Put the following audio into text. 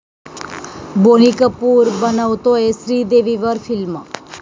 बोनी कपूर बनवतोय श्रीदेवीवर फिल्म